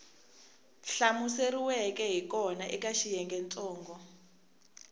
hlamuseriweke hi kona eka xiyengentsongo